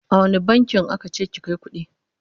a wani bankin aka ce ki Kai kuɗi?